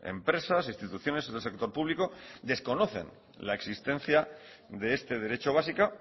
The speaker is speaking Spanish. empresas instituciones en el sector público desconocen la existencia de este derecho básica